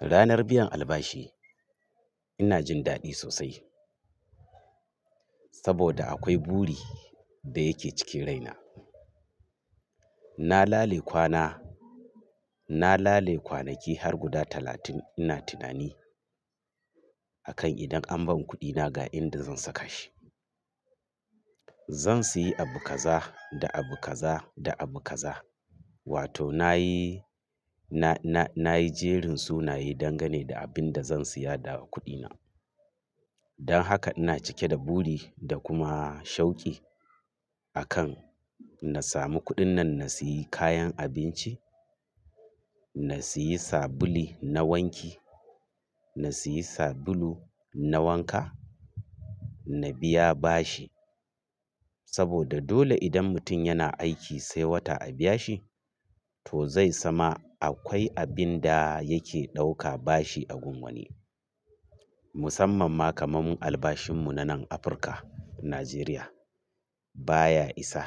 Ranar biyan albashi ina jin daɗi sosai saboda akwai buri da yake cikin raina. Na lale kwana, na lale kwanaki har guda talatin ina tunani akan idan an ban kuɗina ga inda zan saka shi. Zan sayi abu kaza da abu kaza da abu kaza. Wato na yi, na, na, na yi jerin sunaye dangane da abin da zan siya da kuɗina. Don haka ina cike da buri da kuma shauki akan na samu kuɗin nan na sayi kayan abinci, na sayi sabuli na wanki, na sayi sabulu na wanka, na biya bashi. Saboda dole idan mutum yana aiki sai wata a biya shi, to zai sama akwai abin da yake ɗauka bashi a gun wani. Musamman ma kamar albashin mu na nan Afirka, Najeriya baya isa.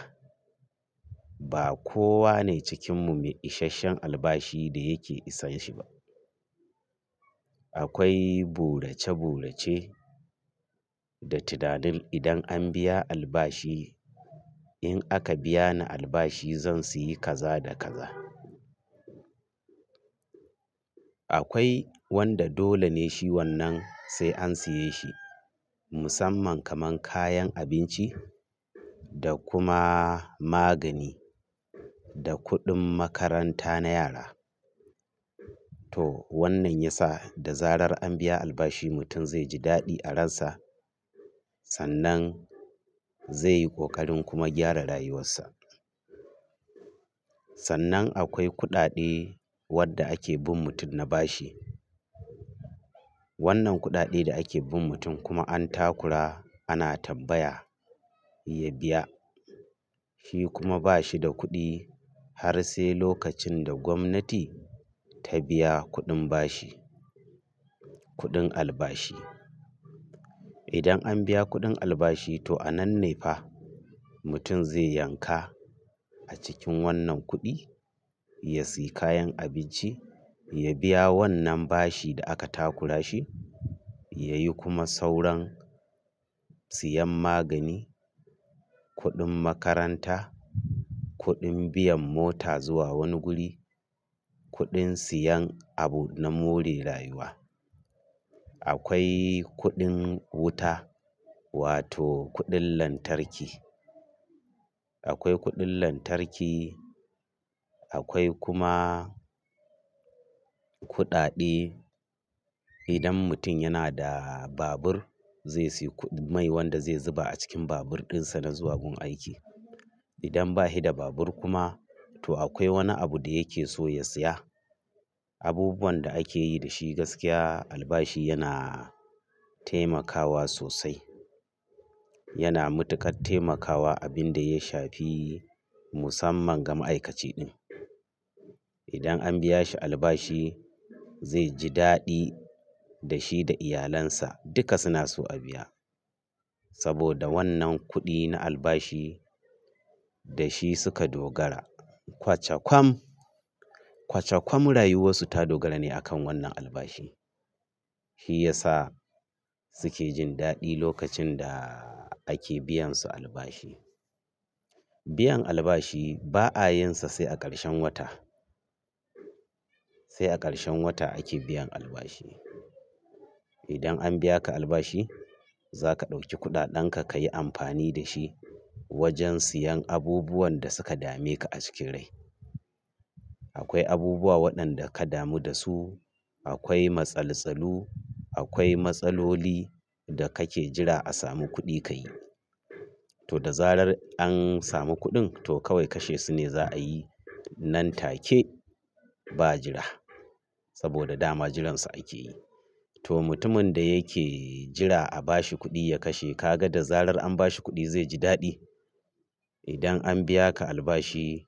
Ba kowa ne cikinmu mai ishashshen albashi da yake isanshi ba. Akwai burace burace da tunanin idan an biya albashi, in aka biya ni albashi zan siyi kaza da kaza. Akwai wanda dole ne shi wannan sai an siye shi musamman kaman kayan abinci da kuma magani da kuɗin makaranta na yara. To wannan ya sa da zarar an biya albashi mutum zai ji daɗi a ransa sannan zai yi ƙoƙarin kuma gyara rayuwarsa. Sannan akwai kuɗaɗe wadda ake bin mutum na bashi. Wannan kuɗaɗe da ake bin mutum kuma an takura ana tabbaya ya biya. Shi kuma ba shi da kuɗi har sai lokacin da gwamnati ta biya kuɗin bashi, kuɗin albashi. Idan an biya kuɗin albashi to a nan ne fa mutum zai yanka a cikin wannan kuɗi, ya sayi kayan abinci, ya biya wannan bashi da aka takura shi, ya yi kuma sauran siyan magani, kuɗin makaranta, kuɗin biyan mota zuwa wani guri, kuɗin siyan abu na more rayuwa. Akwai kuɗin wuta wato kuɗin lantarki. Akwai kuɗin lantarki, akwai kuma kuɗaɗe idan mutum yana da babur zai sayi ku mai wanda zai zuba a cikin babur dinsa na zuwa gun aiki. Idan bashi da babur kuma to akwai wani abu da yake so ya siya. Abubuwan da ake yi da shi gaskiya albashi yana taimakawa sosai. Yana matuƙar taimakawa abin da ya shafi musamman ga ma'aikaci ɗin. Idan an biya shi albashi zai ji daɗi da shi da iyalansa duka suna so a biya saboda wannan kuɗi na albashi da shi suka dogara. Kwace kwam, kwace kwam rayuwarsu ta dogara ne akan wannan albashi. Shi ya sa suke jin daɗi lokacin da ake biyan su albashi. Biyan albashi ba a yinsa sai a ƙarshen wata. Sai a ƙarshen wata ake biyan albashi. Idan an biya ka albashi za ka ɗauki kuɗaɗen ka ka yi amfani da shi wajen siyan abubuwan da suka dame ka a cikin rai. Akwai abubuwa waɗanda ka damu da su, akwai matsaltsalu, akwai matsaloli da kake jira a samu kuɗi ka yi. To da zarar an samu kuɗin to kawai kashe su ne za a yi nan take ba jira saboda dama jiransu ake yi. To mutumin da yake jira a bashi kuɗi ya kashe ka ga da zarar an bashi kuɗi zai ji daɗi. Idan an biya ka albashi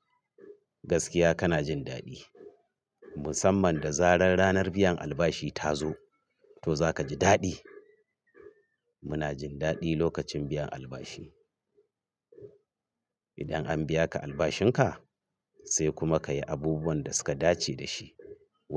gaskiya kana jin daɗi. Musamman da zarar ranar biyan albashi ta zo to za ka ji daɗi. Muna jin daɗi lokacin biyan albashi. Idan an biya ka albashin ka sai kuma ka yi abubuwan da suka dace da shi wa.